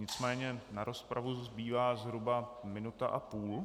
Nicméně na rozpravu zbývá zhruba minuta a půl.